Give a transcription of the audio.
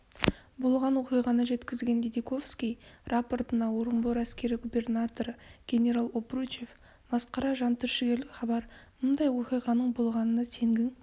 болған оқиғаны жеткізген дидиковский рапортына орынбор әскери губернаторы генерал обручев масқара жантүршігерлік хабар мұндай оқиғаның болғанына сенгің